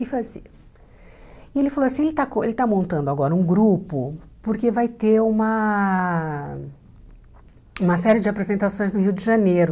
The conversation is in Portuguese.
E foi assim e ele falou assim, ele está com ele está montando agora um grupo porque vai ter uma uma série de apresentações no Rio de Janeiro.